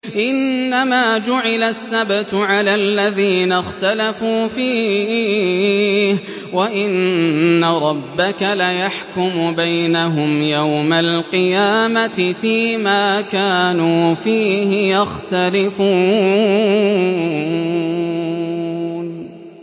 إِنَّمَا جُعِلَ السَّبْتُ عَلَى الَّذِينَ اخْتَلَفُوا فِيهِ ۚ وَإِنَّ رَبَّكَ لَيَحْكُمُ بَيْنَهُمْ يَوْمَ الْقِيَامَةِ فِيمَا كَانُوا فِيهِ يَخْتَلِفُونَ